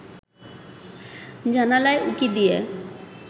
জানালায় উঁকি দিয়ে